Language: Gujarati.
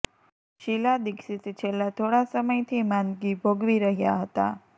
શીલા દીક્ષિત છેલ્લા થોડા સમયથી માંદગી ભોગવી રહ્યા હતા